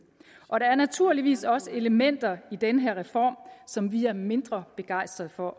og der er naturligvis også elementer i den her reform som vi er mindre begejstret for